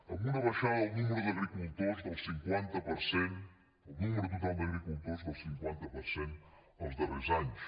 amb una baixada del nombre d’agricultors del cinquanta per cent del nombre total d’agricultors del cinquanta per cent els darrers anys